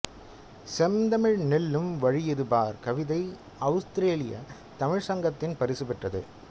செந்தமிழ் நெல்லும் வழியெது பார் கவிதை அவுஸ்திரேலிய தமிழ்ச்சங்கத்தின் பரிசு பெற்றது